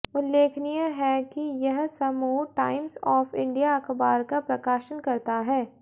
उल्लेखनीय है कि यह समूह टाइम्स ऑफ इंडिया अखबार का प्रकाशन करता है